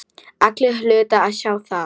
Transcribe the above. Allir hlutu að sjá það.